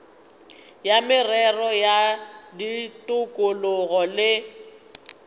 ya merero ya tikologo le